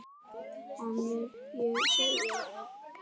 Hana vil ég eiga ein.